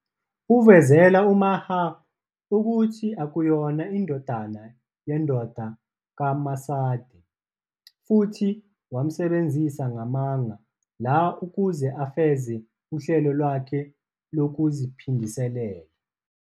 Uvezela uMahir ukuthi akayona indodana yendoda kaMacide futhi wamsebenzisa ngamanga la ukuze afeze uhlelo lwakhe lokuziphindiselela.